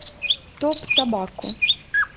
топ тобакко